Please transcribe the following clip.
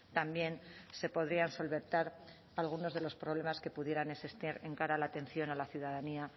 también se podrían solventar algunos de los problemas que pudieran existir de cara a la atención a la ciudadanía